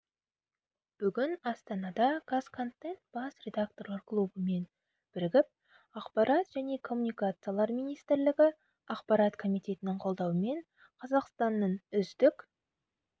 бүгін астанада қазконтент бас редакторлар клубымен бірігіп ақпарат және коммуникациялар министрлігі ақпарат комитетінің қолдауымен қазақстанның үздік